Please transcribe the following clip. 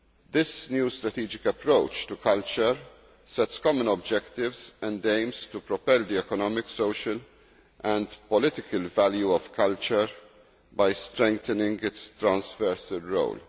This new strategic approach to culture sets common objectives and aims to propel the economic, social and political value of culture by strengthening its transversal role.